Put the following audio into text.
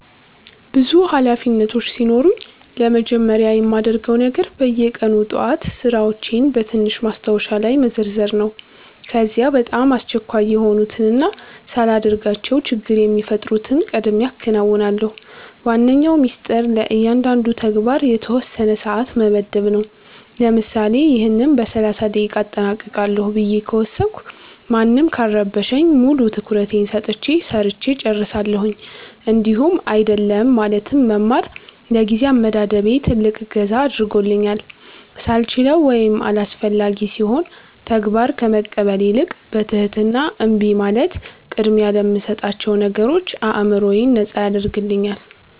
ብዙ ኃላፊነቶች ሲኖሩኝ ለመጀመሪያ የማደርገው ነገር በየቀኑ ጠዋት ሥራዎቼን በትንሽ ማስታወሻ ላይ መዘርዘር ነው። ከዚያ በጣም አስቸኳይ የሆኑትንና ሳላደርጋቸው ችግር የሚፈጥሩትን ቀድሜ አከናውናለሁ። ዋነኛው ሚስጥር ለእያንዳንዱ ተግባር የተወሰነ ሰዓት መመደብ ነው፤ ለምሳሌ "ይህን በ30 ደቂቃ አጠናቅቃለሁ" ብዬ ከወሰንኩ ማንም ካልረበሸኝ ሙሉ ትኩረቴን ሰጥቼ ሰርቸ እጨርሳለሁኝ። እንዲሁም "አይደለም" ማለትን መማር ለጊዜ አመዳደቤ ትልቅ እገዛ አድርጎልኛል፤ ሳልችለው ወይም አላስፈላጊ ሲሆን ተግባር ከመቀበል ይልቅ በትህትና እምቢ ማለት ቅድሚያ ለምሰጣቸው ነገሮች አዕምሮዬን ነጻ ያደርግልኛል።